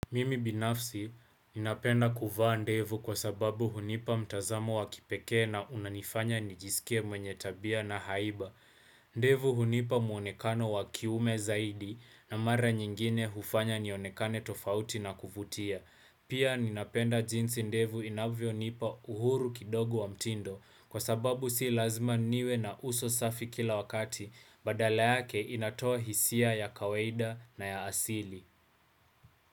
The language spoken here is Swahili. Mimi binafsi ninapenda kuvaa ndevu kwa sababu hunipa mtazamo wakipekee na unanifanya nijisikie mwenye tabia na haiba. Ndevu hunipa muonekano wa kiume zaidi na mara nyingine hufanya nionekane tofauti na kuvutia. Pia ninapenda jinsi ndevu inavyonipa uhuru kidogu wa mtindo kwa sababu si lazima niwe na uso safi kila wakati badala yake inatoa hisia ya kawaida na ya asili.